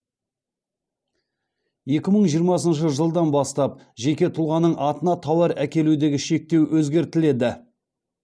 екі мың жиырмасыншы жылдан бастап жеке тұлғаның атына тауар әкелудегі шектеу өзгертіледі